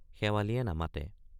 শেৱালিয়ে নেমাতে।